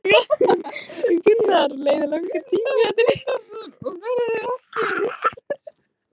Haukur: Leið langur tími þar til að einhver koma að honum og gat gert viðvart?